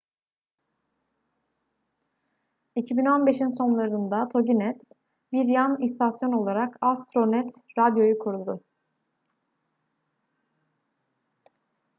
2015'in sonlarında toginet bir yan istasyon olarak astronet radio'yu kurdu